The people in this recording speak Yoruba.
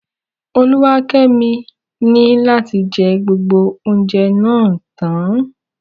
Oluwakemi ni lati jẹ gbogbo oúnjẹ náà tán.